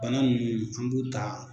Bana nunnu an b'u taa